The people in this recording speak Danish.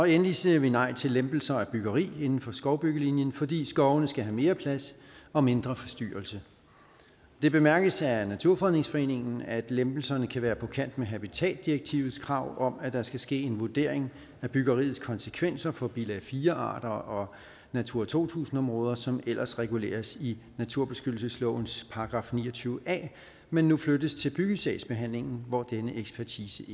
endelig siger vi nej til lempelser af byggeri inden for skovbyggelinjen fordi skovene skal have mere plads og mindre forstyrrelse det bemærkes af naturfredningsforeningen at lempelserne kan være på kant med habitatdirektivets krav om at der skal ske en vurdering af byggeriets konsekvenser for bilag fire arter og natura to tusind områder som ellers reguleres i naturbeskyttelseslovens § ni og tyve a men nu flyttes til byggesagsbehandlingen hvor denne ekspertise